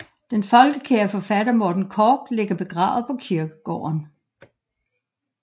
Den folkekære forfatter Morten Korch ligger begravet på kirkegården